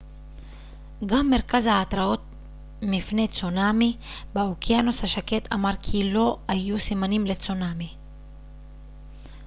גם מרכז ההתראות מפני צונאמי באוקיינוס השקט אמר כי לא היו סימנים לצונאמי